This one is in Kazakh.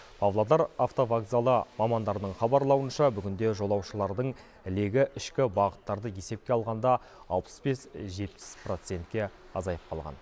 павлодар автовокзалы мамандарының хабарлауынша бүгінде жолаушылардың легі ішкі бағыттарды есепке алғанда алпыс бес жетпіс процентке азайып қалған